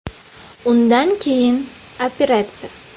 Undan keyin operatsiya.